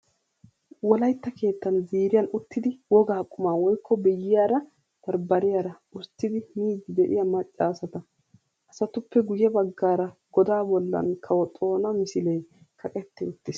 Wolayitta keettan ziiriyan uttidi woga qumaa woyikko biyyiyaara bambbariyaara usttidi miiddi de'iyaa macca asata. Asatuppe guyye baggaara godaa bollan kawo Xoona misilee kaqetti uttis.